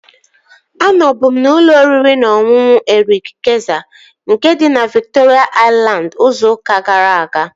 Anọbu m n'ụlọ oriri na ọṅụṅụ Erik Kayzer, nke dị na Viktoria Aịlandị, izu ụka gara aga